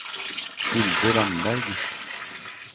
Hilde Ramberg